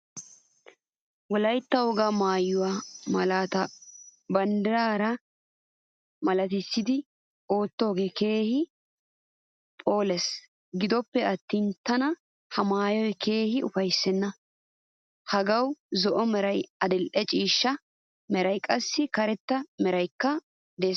Wolaytta wogga maayuwaa malaata banddiraa malatisidi oottogee keehin phoolees. Gidoppe attin tana ha maayoy keehin ufaysena. Hagaawu zo'o meray, adil'ee ciishsha meeray qaasi karetta meraykka de'ees.